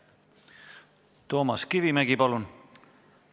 Toomas Kivimägi, palun!